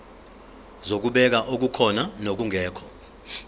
zokubheka okukhona nokungekho